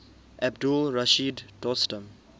abdul rashid dostum